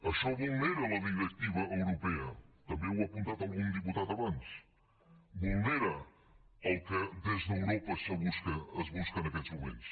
això vulnera la directiva europea també ho ha apuntat algun diputat abans vulnera el que des d’europa es busca en aquests moments